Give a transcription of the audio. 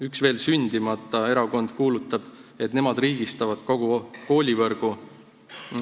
Üks veel sündimata erakond kuulutab, et nemad riigistavad kogu koolivõrgu.